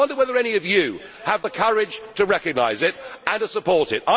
I wonder whether any of you have the courage to recognise it and to support it?